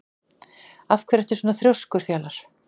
Af hverju ertu svona þrjóskur, Fjalar?